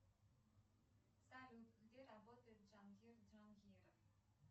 салют где работает джангир джангиров